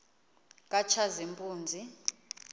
katshazimpuzi